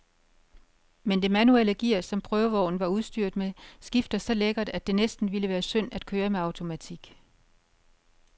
Men det manuelle gear, som prøvevognen var udstyret med, skifter så lækkert, at det næsten ville være synd at køre med automatik.